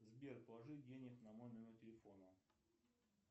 сбер положи денег на мой номер телефона